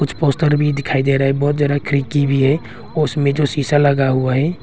कुछ पोस्टर भी दिखाई दे रहा है बहोत ज्यादा खिड़की भी है उसमें जो शीशा लगा हुआ है।